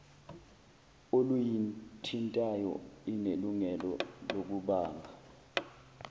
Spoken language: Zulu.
oluyithintayo inelungelo lokubamba